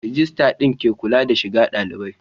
Rijistar din ke kula da shiga dalibai